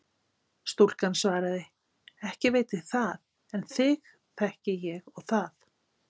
Stúlkan svaraði: Ekki veit ég það en þig þekki ég og það.